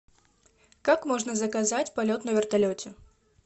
как можно заказать полет на вертолете